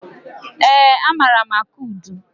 Eé, amaara m akụ udu.